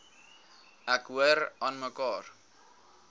ek hoor aanmekaar